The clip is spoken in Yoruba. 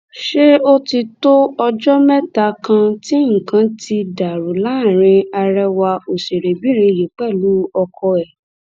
ṣé ó ti tó ọjọ mẹta kan tí nǹkan ti dàrú láàrin àrẹwà òṣèrébìnrin yìí pẹlú ọkọ ẹ